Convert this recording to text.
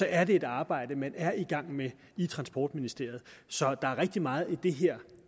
er det et arbejde man er i gang med i transportministeriet så der er rigtig meget i det her